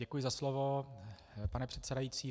Děkuji za slovo, pane předsedající.